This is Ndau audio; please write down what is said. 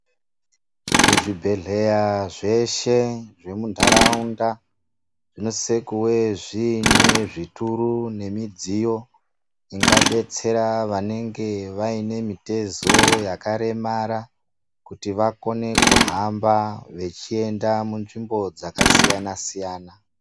Muzvibhedhleya zveshe zvemuntaraunda, zvinosise kuve zviine zvituru, nemidziyo ingadetsera, vanenge vaine mitezo yakaremara, kuti vakone kutamba vechienda mu